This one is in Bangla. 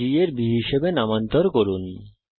g এর b হিসাবে নামান্তর করুন